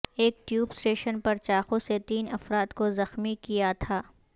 ایک tube station پر چاقو سے تین افراد کو زخمی کیا تھا